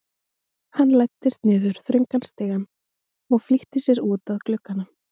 Hann læddist niður þröngan stigann og flýtti sér út að glugganum.